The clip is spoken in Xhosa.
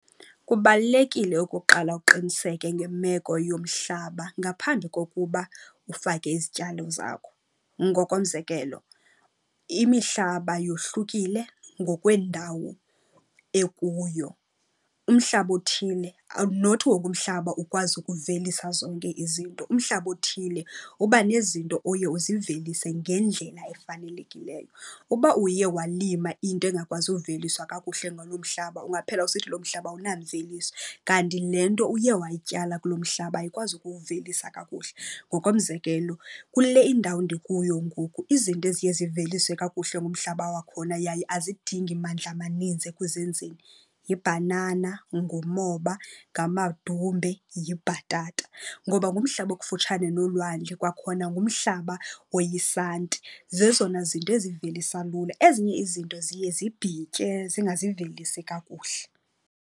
Kubalulekile okokuqala uqiniseke ngemeko yomhlaba ngaphambi kokuba ufake izityalo zakho. Ngokomzekelo imihlaba yohlukile ngokwendawo ekuyo. Umhlaba othile not wonke umhlaba ukwazi ukuvelisa zonke izinto, umhlaba othile uba nezinto oye uzivelise ngendlela efanelekileyo. Uba uye walima into engakwazi uveliswa kakuhle ngaloo mhlaba, ungaphela usithi lo mhlaba awunamveliso kanti le nto uye wayityala kulo mhlaba ayikwazi ukuwuvelisa kakuhle. Ngokomzekelo kule indawo ndikuyo ngoku izinto eziye ziveliswe kakuhle ngumhlaba wakhona yaye azidingi mandla amaninzi ekuzinziseni yibhanana, ngumoba ngamadumbe, yibhatata. Ngoba ngumhlaba okufutshane nolwandle kwakhona ngumhlaba oyisanti, zezona zinto ezivelisa lula. Ezinye izinto ziye zibhitye zingazivelisi kakuhle.